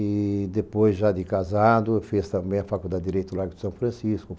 E depois, já de casado, fez também a Faculdade de Direito Lágrimo de São Francisco.